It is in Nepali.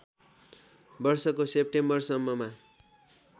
वर्षको सेप्टेम्बरसम्ममा